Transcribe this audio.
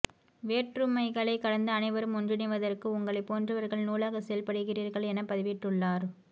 வேற்றுமைகளைக் கடந்து அனைவரும் ஒன்றிணைவதற்கு உங்களைப் போன்றவர்கள் நூலாக செயல்படுகிறீர்கள் என பதிவிட்டுள்ளார்